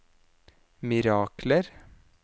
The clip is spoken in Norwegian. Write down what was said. mirakler